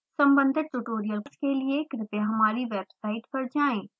संबधित ट्यूटोरियल्स के लिए कृपया हमारी वेबसाइट पर जाएँ